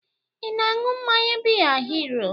Ị na-aṅụ mmanya biya Hiro?